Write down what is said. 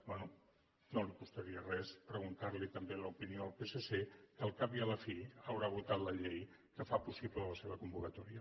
bé no costaria res preguntar li també l’opinió al psc que al cap i a la fi haurà votat la llei que fa possible la seva convocatòria